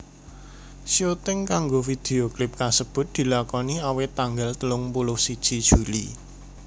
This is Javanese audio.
Syuting kanggo vidio klip kasebut dilakoni awit tanggal telung puluh siji Juli